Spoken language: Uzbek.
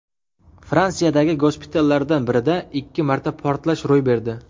Fransiyadagi gospitallardan birida ikki marta portlash ro‘y berdi.